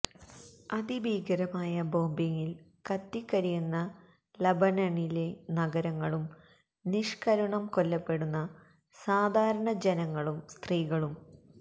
അതിഭീകരമായ ബോംബിംഗിൽ കത്തികരിയുന്ന ലബനണിലെ നഗരങ്ങളും നിഷ്കരുണം കൊല്ലപ്പെടുന്ന സാധാരണ ജനങ്ങളും സ്ത്രീകളും